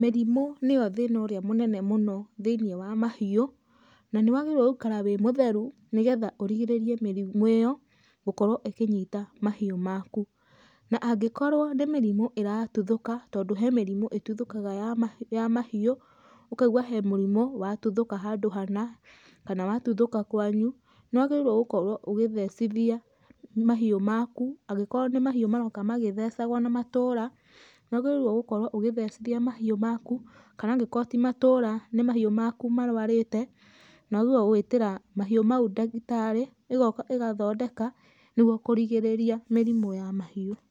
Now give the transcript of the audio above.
Mĩrimũ nĩyo thĩna ũrĩa mũnene mũno thĩinie wa mahiũ, na nĩ wagĩrĩirwo gũikara wĩ mũtheru, nĩgetha ũrigĩrĩrie mĩrimũ ĩyo gũkorwo ĩkĩnyita mahiũ maku. Na angĩkorwo nĩ mĩrimũ ĩratuthũka, tondũ he mĩrimũ ĩtuthũkaga ya mahiũ, ũkaigua he mũrimũ watuthũka handũ hana, kana watuthũka kwanyu, nĩ wagĩrĩirwo gũkorwo ũgĩthecithia mahiũ maku, angĩkorwo nĩ mahĩu maroka magĩthecagwo na matũra, nĩ wagĩrĩirwo gũkorwo ũgĩthecithia mahiũ maku, kana angĩkorwo ti matũra nĩ mahiũ maku marũarĩte, nĩ wagĩrĩirwo gũĩtĩra mahiũ mau ndagĩtarĩ, ĩgoka ĩgathondeka nĩgwo kũrigĩrĩria mĩrimũ ya mahiũ.